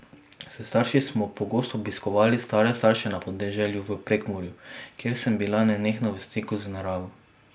S starši smo pogosto obiskovali stare starše na podeželju v Prekmurju, kjer sem bila nenehno v stiku z naravo.